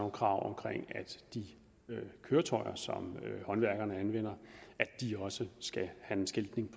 krav om at de køretøjer som håndværkerne anvender skal have en skiltning